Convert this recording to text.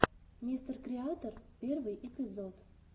мистеркреатор первый эпизод